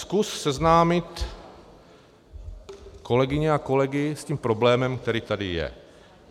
Zkus seznámit kolegyně a kolegy s tím problémem, který tady je...